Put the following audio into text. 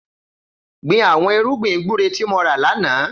Gbin awọn irùgbin gbùré ti mò rá lànà